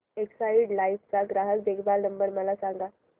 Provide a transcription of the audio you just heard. Exide life चा ग्राहक देखभाल नंबर मला सांगा